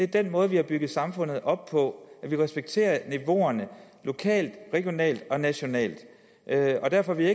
den måde vi har bygget samfundet op på og at vi respekterer niveauerne lokalt regionalt og nationalt derfor vil